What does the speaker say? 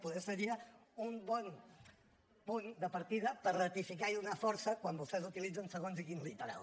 poder seria un bon punt de partida per ratificar i donar força quan vostès utilitzen segons quin literal